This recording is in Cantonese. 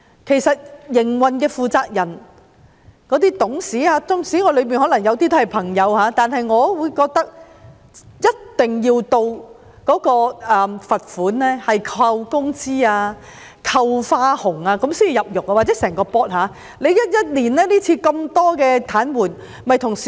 其實營運的負責人及董事，縱使當中有些是我的朋友，但我也認為，整個董事局一定要受到扣減工資、扣減花紅等罰款處分，才能夠感到切膚之痛。